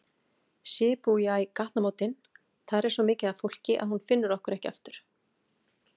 Shibuya gatnamótin, þar er svo mikið af fólki að hún finnur okkur ekki aftur.